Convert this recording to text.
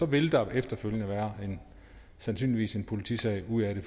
vil der efterfølgende sandsynligvis komme en politisag ud af det